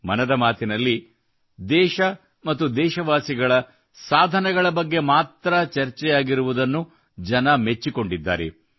ಮನದ ಮಾತಿನಲ್ಲಿ ದೇಶ ಮತ್ತು ದೇಶವಾಸಿಗಳ ಸಾಧನೆಗಳ ಬಗ್ಗೆ ಮಾತ್ರ ಚರ್ಚೆಯಾಗಿರುವುದನ್ನು ಜನ ಮೆಚ್ಚಿಕೊಂಡಿದ್ದಾರೆ